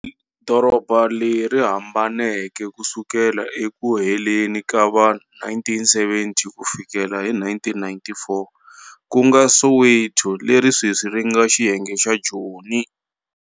Doroba leri hambaneke ku sukela eku heleni ka va-1970 ku fikela hi 1994, kunga Soweto leri sweswi ri nga xiyenge xa Joni.